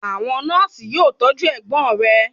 Àwọn nọ́ọ̀sì yóò tọ́jú ẹgbò rẹ.